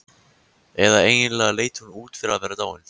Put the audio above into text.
Eða eiginlega leit hún út fyrir að vera dáin.